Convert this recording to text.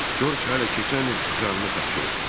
Corc hələ keçən il canını tapşırıb.